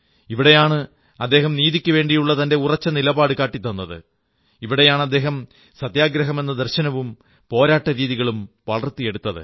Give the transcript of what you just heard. ഇവിടെയാണ് അദ്ദേഹം നീതിക്കുവേണ്ടിയുള്ള തന്റെ ഉറച്ച നിലപാടു കാട്ടിത്തന്നത് ഇവിടെയാണ് അദ്ദേഹം സത്യാഗ്രഹമെന്ന ദർശനവും പോരാട്ടരീതികളും വളർത്തിയെടുത്തത്